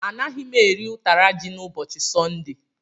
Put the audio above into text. Anaghị m eri ụtara ji n'ụbọchị Sọnde.